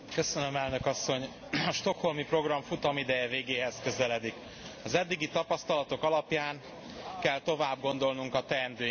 A Stockholmi Program futamideje végéhez közeledik. Az eddigi tapasztalatok alapján kell továbbgondolnunk a teendőinket.